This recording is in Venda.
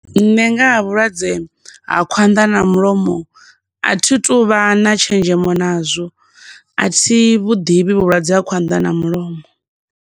Nṋe nga ha vhulwadze ha khwanḓa na mulomo a thituvha na tshenzhemo nazwo, athi vhu ḓivhi vhulwadze ha khwanḓa na mulomo.